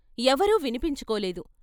ఎవరూ వినిపించుకోలేదు.